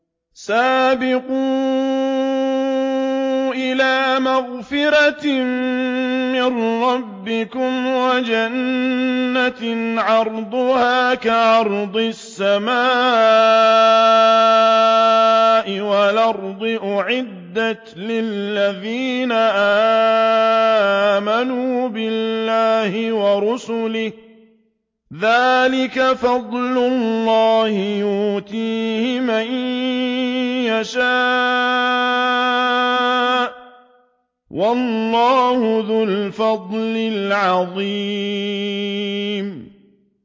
سَابِقُوا إِلَىٰ مَغْفِرَةٍ مِّن رَّبِّكُمْ وَجَنَّةٍ عَرْضُهَا كَعَرْضِ السَّمَاءِ وَالْأَرْضِ أُعِدَّتْ لِلَّذِينَ آمَنُوا بِاللَّهِ وَرُسُلِهِ ۚ ذَٰلِكَ فَضْلُ اللَّهِ يُؤْتِيهِ مَن يَشَاءُ ۚ وَاللَّهُ ذُو الْفَضْلِ الْعَظِيمِ